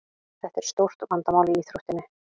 Þetta er stórt vandamál í íþróttinni.